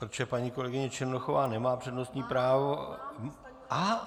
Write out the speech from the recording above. Protože paní kolegyně Černochová nemá přednostní právo...